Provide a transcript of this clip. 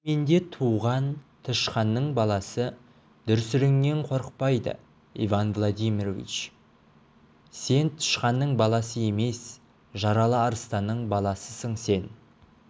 диірменде туған тышқанның баласы дүрсіліңнен қорықпайды иван владимирович сен тышқанның баласы емес жаралы арыстанның баласысың сен